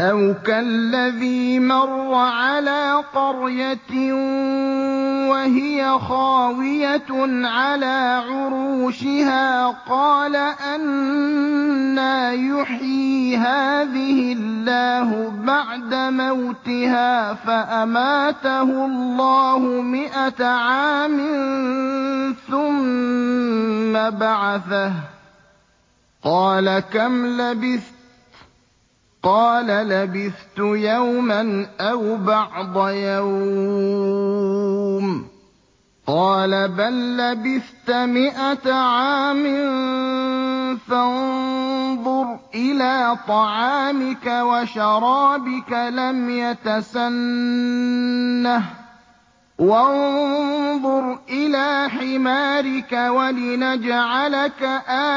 أَوْ كَالَّذِي مَرَّ عَلَىٰ قَرْيَةٍ وَهِيَ خَاوِيَةٌ عَلَىٰ عُرُوشِهَا قَالَ أَنَّىٰ يُحْيِي هَٰذِهِ اللَّهُ بَعْدَ مَوْتِهَا ۖ فَأَمَاتَهُ اللَّهُ مِائَةَ عَامٍ ثُمَّ بَعَثَهُ ۖ قَالَ كَمْ لَبِثْتَ ۖ قَالَ لَبِثْتُ يَوْمًا أَوْ بَعْضَ يَوْمٍ ۖ قَالَ بَل لَّبِثْتَ مِائَةَ عَامٍ فَانظُرْ إِلَىٰ طَعَامِكَ وَشَرَابِكَ لَمْ يَتَسَنَّهْ ۖ وَانظُرْ إِلَىٰ حِمَارِكَ وَلِنَجْعَلَكَ